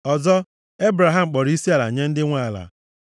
Ọzọ Ebraham kpọrọ isiala nye ndị nwe ala,